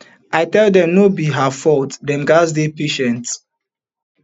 i tell dem no be her fault dem gatz dey patient